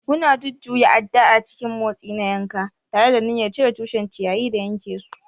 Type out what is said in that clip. Muna jujjuya adda a cikin motsi na yanka, tare da niyyar cire tushen ciyayi da yanke su.